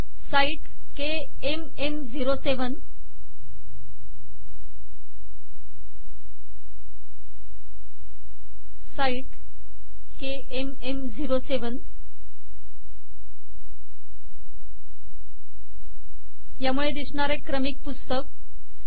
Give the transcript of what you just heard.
site KMM07 site KMM07 यामुळे दिसणार आहे क्रमिक पुस्तक